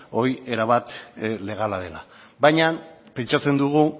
hori erabat legala dela baina pentsatzen dugu